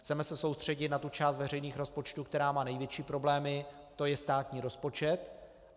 Chceme se soustředit na tu část veřejných rozpočtů, která má největší problémy, to je státní rozpočet.